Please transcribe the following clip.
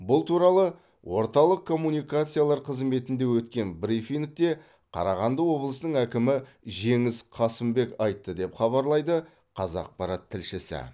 бұл туралы орталық коммуникациялар қызметінде өткен брифингте қарағанды облысының әкімі жеңіс қасымбек айтты деп хабарлайды қазақпарат тілшісі